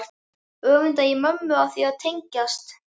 Öfunda ég mömmu af því að tengjast